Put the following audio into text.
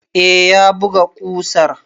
Eh, ya buga ƙusar.